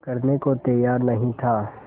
करने को तैयार नहीं था